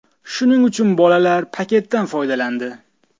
Shuning uchun bolalar paketdan foydalandi.